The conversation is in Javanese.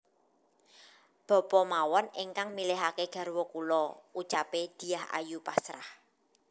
Bapa mawon ingkang milihake garwa kula ucape Dyah Ayu pasrah